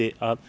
að